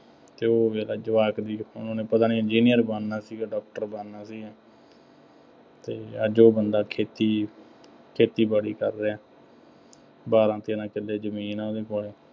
ਅਤੇ ਉਹ ਫੇਰ ਜਵਾਕ ਦੀ ਉਹਨਾ ਨੇ ਪਤਾ ਨਹੀਂ ਇੰਜੀਨੀਅਰ ਬਣਨਾ ਸੀਗਾ, ਡਾਕਟਰ ਬਣਨਾ ਸੀਗਾ ਅਤੇ ਅੱਜ ਉਹ ਬੰਦਾ ਖੇਤੀ, ਖੇਤੀਬਾੜੀ ਕਰ ਰਿਹਾ। ਬਾਰਾਂ-ਤੇਰਾਂ ਕਿੱਲੇ ਜ਼ਮੀਨ ਆ ਉਹਨਾ ਕੋਲ।